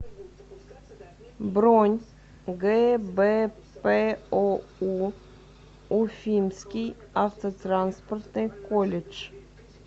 бронь гбпоу уфимский автотранспортный колледж